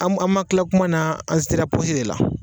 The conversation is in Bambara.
An ma an ma kila kuma na an sera pɔsi de la